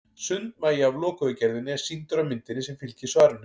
Sundmagi af lokuðu gerðinni er sýndur á myndinni sem fylgir svarinu.